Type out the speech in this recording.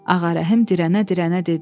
Ağarəhim dirənə-dirənə dedi.